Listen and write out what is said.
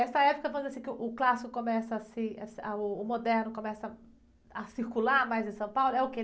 Essa época, quando, assim, que uh, o clássico começa a se, ah, uh, o moderno começa a circular mais em São Paulo, é o quê?